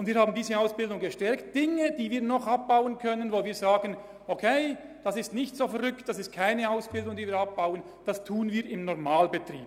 Wenn wir denken, es sei kein Unding, eine bestimmte Ausbildung abzubauen, dann tun wir dies im Rahmen des Normalbetriebs.